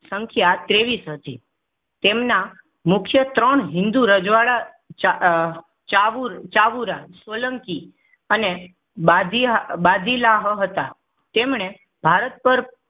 સંખ્યા ત્રેવીસ હતી. તેમના મુખ્ય ત્રણ હિંદુ રજવાડા અ ચાવુર ચાવુંરા સોલંકી અને બાદી બાદિલાહ હતા તેમણે ભારત પર